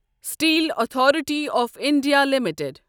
steel authority of India limited